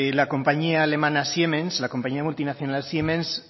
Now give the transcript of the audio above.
la compañía alemana siemens la compañía multinacional siemens